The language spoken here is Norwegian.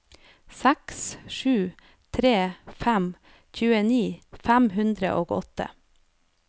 seks sju tre fem tjueni fem hundre og åtte